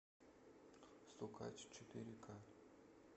стукач четыре ка